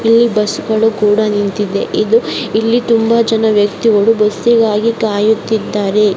ಇಲ್ಲಿ ಬಸ್ಗಳು ಕೂಡ ನಿಂತಿವೆ ಇಲ್ಲಿ ತುಂಬಾ ಜನರು ಬಸ್ಗಾಗಿ ಕಾಯುತ್ತಿದ್ದಾರೆ